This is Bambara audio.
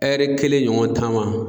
Ɛri kelen ɲɔgɔn taama